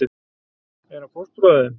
Er hann fóstbróðir þinn?